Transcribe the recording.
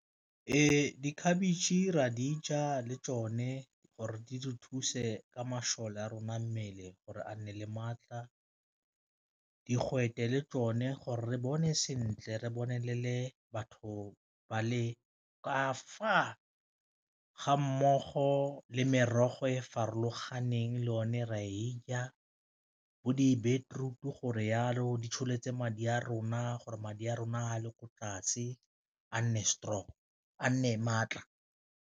Ee, di khabetšhe ra dija le tsone gore di re thuse ka masole a rona mmele gore a nne le maatla, digwete le tsone gore re bone sentle re bone le batho ba le ka fa ga mmogo le merogo e e farologaneng le o ne re a e ja, bo di beterutu gore jalo di tsholetse madi a rona gore madi a rona a le ko tlase a nne strong a nne le maatla.